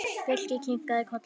Birkir kinkaði kolli.